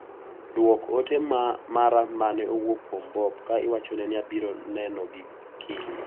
Duok ote mara mane owuok kuom Bob ka iwachone ni abiro neno gi kiny.